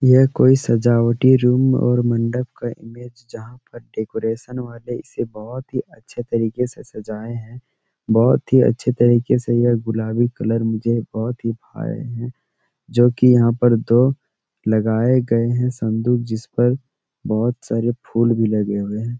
ये कोई सजावटी रूम और मंडप का इमेज जहाँ पर डेकोरेशन वाले इसे बहुत ही अच्छे तरीके से सजाये है बहुत ही अच्छे तरीके से ये गुलाबी कलर मुझे बहुत ही भाए है जो की जहाँ पर दो लगाये गए है संदूक जिस पर बहुत सारे फूल भी लगे हुए है।